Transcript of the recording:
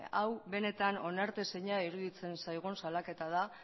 hau benetan onartezina iruditzen zaigun salaketa da